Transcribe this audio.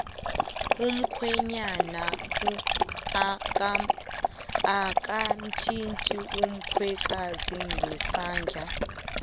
umkhwenyana akamthindi umkhwekazi ngesandla